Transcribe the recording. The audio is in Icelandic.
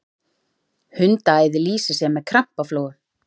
hundaæði lýsir sér með krampaflogum